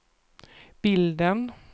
bilden